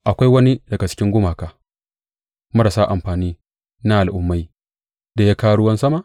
Akwai wani daga cikin gumaka marasa amfani na al’ummai da ya kawo ruwan sama?